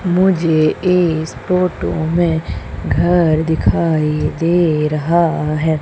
मुझे इस फोटो में घर दिखाई दे रहा है।